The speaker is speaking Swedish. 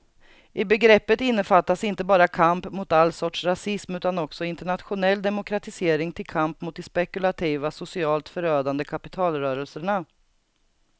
I begreppet innefattas inte bara kamp mot all sorts rasism utan också internationell demokratisering till kamp mot de spekulativa, socialt förödande kapitalrörelserna.